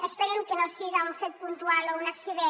esperem que no siga un fet puntual o un accident